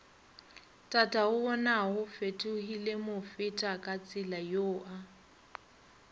tatagobonao fetogilemofeta katsela yo a